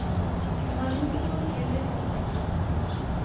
Jeg har like stor tillit til begge.